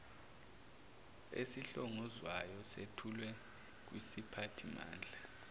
esihlongozwayo sethulwe kwisiphathimandla